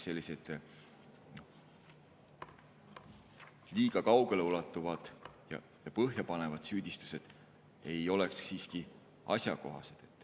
Sellised liiga kaugeleulatuvad ja põhjapanevad süüdistused ei ole siiski asjakohased.